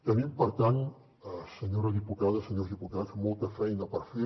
tenim per tant senyora diputada senyors diputats molta feina per fer